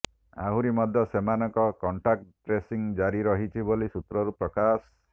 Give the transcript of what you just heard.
ଆହୁରି ମଧ୍ୟ ସେମାନଙ୍କ କଣ୍ଟାକ୍ଟ ଟ୍ରେସିଂ ଜାରି ରହିଛି ବୋଲି ସୁତ୍ରରୁ ପ୍ରକାଶ